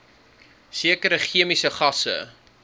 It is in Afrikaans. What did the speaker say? sekere chemiese gasse